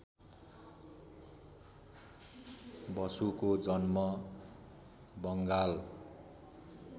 बसुको जन्म बङ्गाल